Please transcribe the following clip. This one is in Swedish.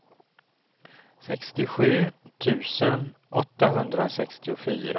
sextiosju tusen åttahundrasextiofyra